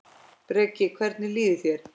Breki: Hvernig líður þér?